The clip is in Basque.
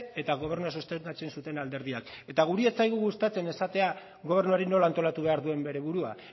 eta gobernua sustengatzen zuten alderdiak eta guri ez zaigu gustatzen esatea gobernuari nola antolatu behar duen bere burua